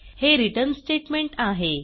हे return statement आहे